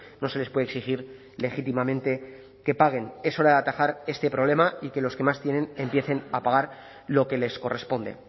no se les puede exigir legítimamente que paguen es hora de atajar este problema y que los que más tienen empiecen a pagar lo que les corresponde